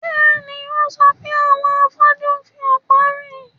Bẹ́ẹ̀ni, ó sọ pé àwọn afọ́jú ń fi ọ̀pá rìn